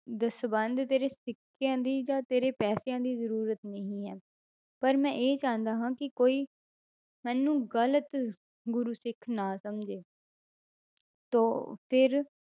ਦਸਵੰਧ ਤੇਰੇ ਸਿੱਕਿਆਂ ਦੀ ਜਾਂ ਤੇਰੇ ਪੈਸਿਆਂ ਦੀ ਜ਼ਰੂਰਤ ਨਹੀਂ ਹੈ, ਪਰ ਮੈਂ ਇਹ ਜਾਣਦਾ ਹਾਂ ਕਿ ਕੋਈ ਮੈਨੂੰ ਗ਼ਲਤ ਗੁਰੂ ਸਿੱਖ ਨਾ ਸਮਝੇ ਤਾਂ ਫਿਰ